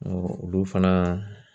olu fana